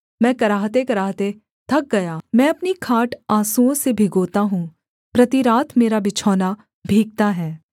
मैं कराहतेकराहते थक गया मैं अपनी खाट आँसुओं से भिगोता हूँ प्रति रात मेरा बिछौना भीगता है